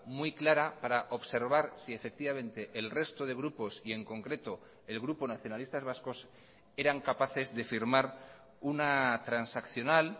muy clara para observar si efectivamente el resto de grupos y en concreto el grupo nacionalistas vascos eran capaces de firmar una transaccional